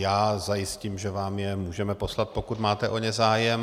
Já zajistím, že vám je můžeme poslat, pokud máte o ně zájem.